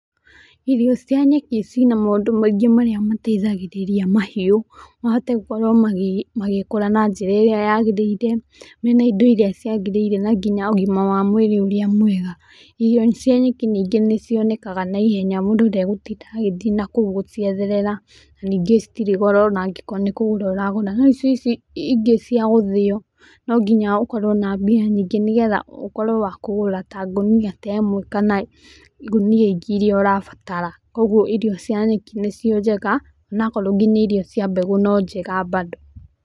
Irio cia nyeki ciĩna maũndũ maingĩ mateithagĩrĩria mahiũ mahote gũkorwo magĩkora na njĩra ĩríĩ yagĩrĩire mena indo íĩĩa ciagĩrĩire nginya ũgĩma wa mũirĩ ũrĩa mwega, irio cia nyeki ningĩ nĩ cionekaga na ihenya mũndũ ndagũtinda agĩthiĩ nakũu gũcietherera ,ningĩ citirĩ goro angĩkorwo nĩ kũgũra ũra gũra no ici ingĩ cia gũthĩo no nginya okorwo na mbia nyingĩ nĩgetha ũkorwo wa kũgũra ngũnia ta ĩmwe kana ngũnia ingĩ ĩria ũrabatara kogũo irio cia nyeki nicio njega onakorwo nginya irio cia mbegu nĩ njega bado.